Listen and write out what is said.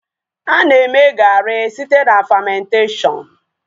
A na-eme gaari site na famentashọnụ